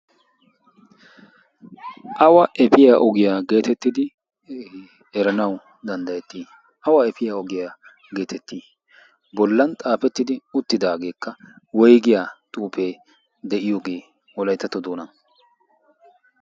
awa efiyaa ogiyaa geetettidi eranawu danddayettii? awa efiyaa ogiyaa geetettii? bollan xaafettidi uttidaageekka woigiyaa xuufee de7iyoogee wolaittatto doonan?